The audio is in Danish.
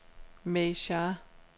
May Shah